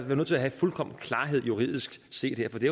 jeg nødt til at have fuldkommen klarhed juridisk set for det